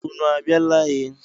Ụnụ a biala e?